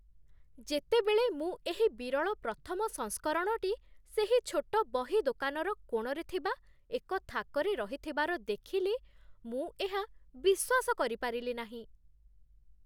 ଯେତେବେଳେ ମୁଁ ଏହି ବିରଳ ପ୍ରଥମ ସଂସ୍କରଣଟି ସେହି ଛୋଟ ବହି ଦୋକାନର କୋଣରେ ଥିବା ଏକ ଥାକରେ ରହିଥିବାର ଦେଖିଲି, ମୁଁ ଏହା ବିଶ୍ୱାସ କରିପାରିଲି ନାହିଁ